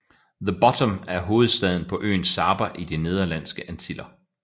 The Bottom er hovedstaden på øen Saba i De Nederlandske Antiller